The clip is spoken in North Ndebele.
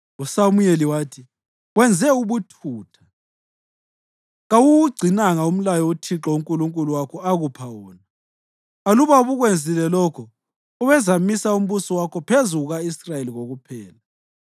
USamuyeli wathi, “Wenze ubuthutha. Kawuwugcinanga umlayo uThixo uNkulunkulu wakho akupha wona; aluba ubukwenzile lokho, ubezamisa umbuso wakho phezu kuka-Israyeli kokuphela.